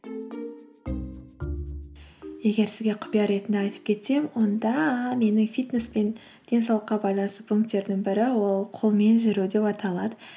егер сізге құпия ретінде айтып кетсем онда менің фитнес пен денсаулыққа байланысты пунктердің бірі ол қолмен жүру деп аталады